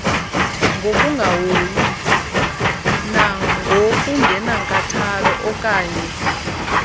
ngokungahoyi nangokungenankathalo okannye